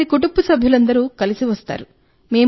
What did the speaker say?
అతని కుటుంబ సభ్యులందరితో కలిసి వస్తాడు